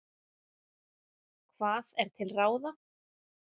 Hvað er til ráða?